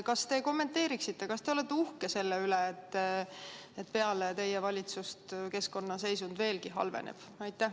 Kas te kommenteeriksite, kas te olete uhke selle üle, et peale teie valitsust halveneb keskkonna seisund veelgi?